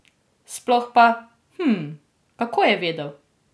Sploh pa, hm, kako je vedel?